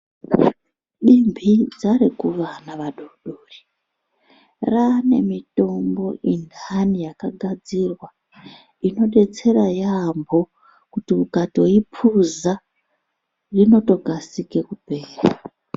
Mibinza rekuvana vadodori ranemitombo indanu ingagadzirwa yekuti ukaipuza unokasira kupera.